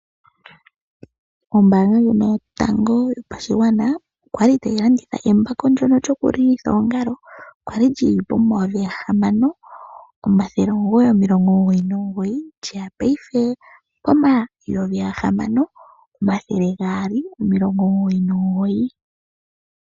Ombanga yotango yopashingwana okwali tayi landitha embako lyokulilitha oongalo ndyoka lya li li na N$6999 nondando oya kulukile ko N$6299.